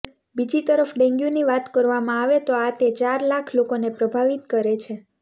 બીજી તરફ ડેન્ગ્યૂની વાત કરવામાં આવે તો આ તે ચાર લાખ લોકોને પ્રભાવિત કરે છે